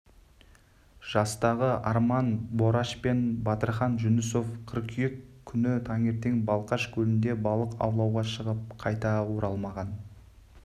жастағы арман бораш пен батырхан жүнісов қыркүйек күні таңертең балқаш көлінде балық аулауға шығып қайта оралмаған